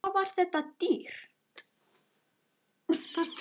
Var þetta dýrt?